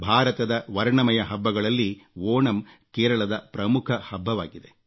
ಭಾರತದ ವರ್ಣಮಯ ಹಬ್ಬಗಳಲ್ಲಿ ಓಣಂ ಕೇರಳದ ಪ್ರಮುಖ ಹಬ್ಬವಾಗಿದೆ